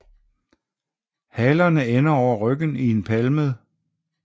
Halerne ender over ryggen i en palmet